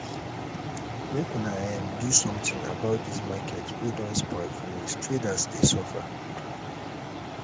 make una um do sometin about dis market wey don spoil finish traders dey suffer.